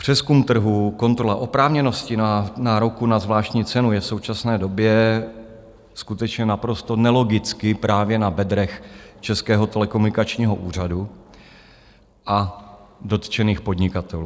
Přezkum trhu, kontrola oprávněnosti nároku na zvláštní cenu je v současné době skutečně naprosto nelogicky právě na bedrech Českého telekomunikačního úřadu a dotčených podnikatelů.